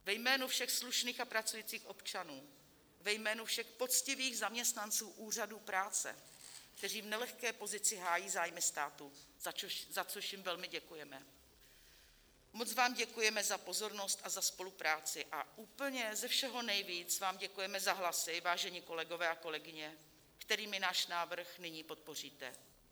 Ve jménu všech slušných a pracujících občanů, ve jménu všech poctivých zaměstnanců úřadů práce, kteří v nelehké pozici hájí zájmy státu, za což jim velmi děkujeme, moc vám děkujeme za pozornost a za spolupráci a úplně ze všeho nejvíc vám děkujeme za hlasy, vážení kolegové a kolegyně, kterými náš návrh nyní podpoříte.